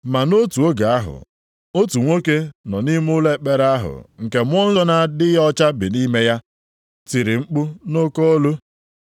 Ma nʼotu oge ahụ, otu nwoke nọ nʼime ụlọ ekpere ahụ nke mmụọ na-adịghị ọcha bi nʼime ya, tiri mkpu nʼoke olu,